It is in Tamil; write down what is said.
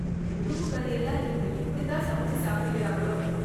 உடும்பு கறி எல்லாம் இப்ப எப்படித்தான் சமைச்சு சாப்பிடுகிறாங்களோ!